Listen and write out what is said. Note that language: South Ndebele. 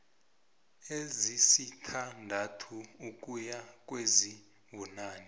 ezisithandathu ukuya kwezibunane